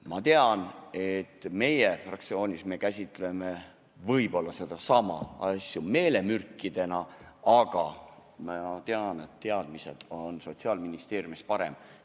Ma tean, et meie fraktsioonis me käsitleme võib-olla neidsamu asju meelemürkidena, aga ma tean, et teadmised on Sotsiaalministeeriumis paremad.